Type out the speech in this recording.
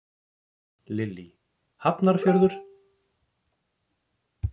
Lillý: Hafnarfjörður?